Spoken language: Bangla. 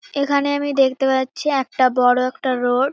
এখানে আমি দেখতে পাচ্ছি একটা বড় একটা রোড ।